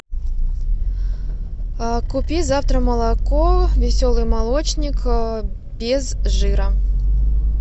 купи завтра молоко веселый молочник без жира